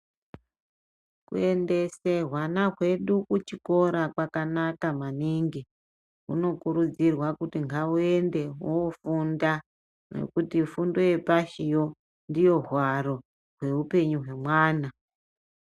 Kuendesa hwana hwedu kuchikora kwakanaka maningi kunokurudzirwa kuti ngauende unofunda ngekuti fundo yepashi ndiyo hwaro hweupenyu hwevana.